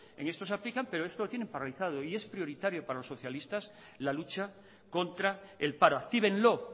en esto se aplican pero esto lo tienen paralizado y es prioritario para los socialistas la lucha contra el paro actívenlo